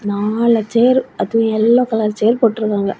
நாலு சேர் . அதுவு yellow colour chair போட்டிறுக்காங்க.